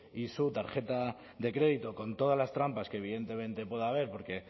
y su tarjeta de crédito con todas las trampas que evidentemente puede haber porque